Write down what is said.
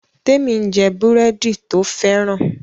Temi n jé búrẹ́dì to fẹ́ràn